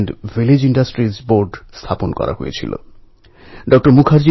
এঁরা অন্ধ বিশ্বাসের বিরুদ্ধে লড়াই করতে শক্তি দেন